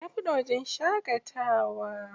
Ya buɗe wajen shaƙatawa.